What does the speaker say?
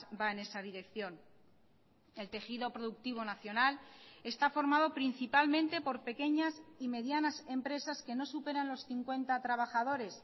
va en esa dirección el tejido productivo nacional está formado principalmente por pequeñas y medianas empresas que no superan los cincuenta trabajadores